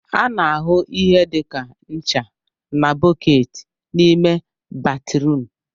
A na-ahụ ihe dị ka ncha na bọọketi n'ime batrum